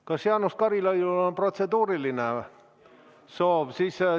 Kas Jaanus Karilaidil on protseduurilise küsimuse soov?